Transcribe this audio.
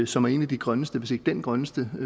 som er en af de grønneste aftaler hvis ikke den grønneste